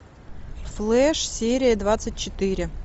флэш серия двадцать четыре